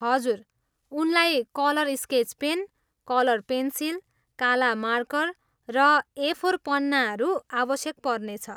हजुर, उनलाई colour sketch pen, colour pencil, काला मार्कर र ए फोर पन्नाहरू आवश्यक पर्नेछ।